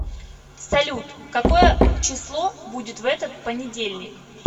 салют какое число будет в этот понедельник